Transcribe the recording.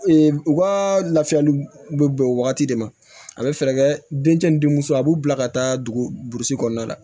u ka lafiyali bɛ bɛn o wagati de ma a bɛ fɛɛrɛ kɛ den cɛ ni denmuso a b'u bila ka taa dugu burusi kɔnɔna la